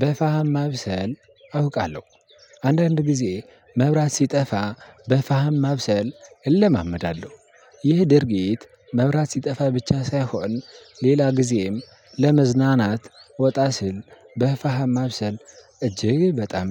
በፋህም ማብሰል አውቃለሁ አንዳንድ ጊዜ መብራት ሲጠፋ በፋህም ማብሰል እለማመዳለሁ። ይህ ድርጊት መብራት ሲጠፋ ብቻ ሳይሆን ሌላ ጊዜም ለመዝናናት ወጣ ሲል በፋሃም ማብሰል እጅግ በጣም